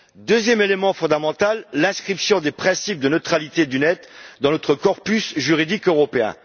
Deuxième élément fondamental, l'inscription des principes de neutralité du net dans notre corpus juridique européen.